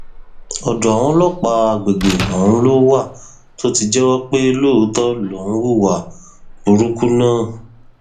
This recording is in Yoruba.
ọdọ àwọn ọlọpàá àgbègbè ọhún ló wà tó ti jẹwọ pé lóòótọ lòún hu ìwà burúkú náà